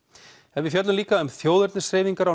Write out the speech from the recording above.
við fjöllum líka um þjóðernishreyfingar á